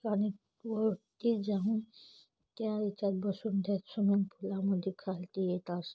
पाणी वर ती जाऊन त्या याच्यात बसून ते स्विमिंग फुलामध्ये खालती येत आस--